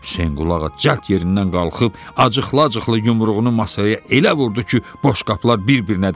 Hüseynqulağa cəld yerindən qalxıb acıqla-acıqla yumruğunu masaya elə vurdu ki, boş qapılar bir-birinə dəydi.